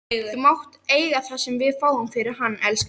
Þú mátt eiga það sem við fáum fyrir hann, elskan.